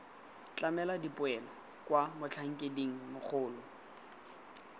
tlamela dipoelo kwa motlhankeding mogolo